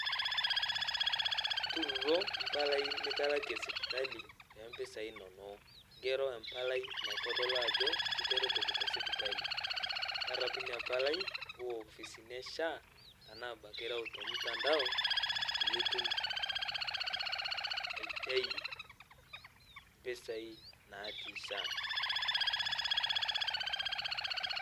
Ntuuro mpalai nitalakie sipitalii te mpisai inonoo ng'eroo empalai naitodoluu ajoo kiteretokii te sipitalii. Tarapuu inia palai uwaa ofisinii ee SHA tanaa abakii irau te mtandao paiye itum aitai mpisai natii SHA.